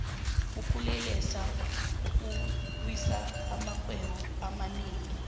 ukulelesa kuwisa amarhwedo amanengi